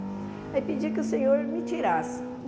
Aí pedi que o senhor me tirasse.